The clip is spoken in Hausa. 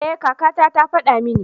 Ee kaka ta ta faɗa mini.